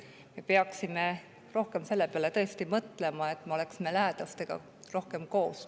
Peaksime rohkem selle peale mõtlema, et me oleksime lähedastega rohkem koos.